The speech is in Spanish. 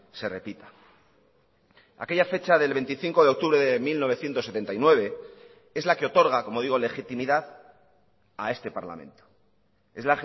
se repita aquella fecha del veinticinco de octubre de mil novecientos setenta y nueve es la que otorga como digo legitimidad a este parlamento es